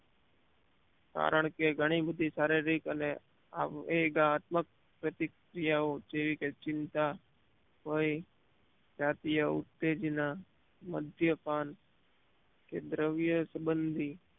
કારણકે ઘણી બધી શારીરિક અને ઘાતક પ્રતિક્રિયાઓ જેવી કે ચિંતા ભય જાતીય ઉતેજના મદ્યપાન કે દ્રવ્ય સબંધી